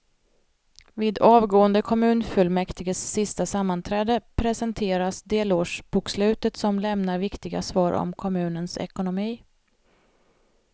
Vid avgående kommunfullmäktiges sista sammanträde presenteras delårsbokslutet som lämnar viktiga svar om kommunens ekonomi.